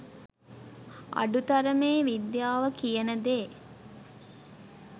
අඩු තරමේ විද්‍යාව කියන දේ